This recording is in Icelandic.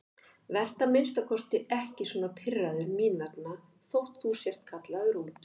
Vertu að minnsta kosti ekki svona pirraður mín vegna þótt þú sért kallaður út.